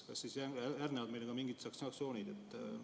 Kas siis järgnevad meile ka mingid sanktsioonid?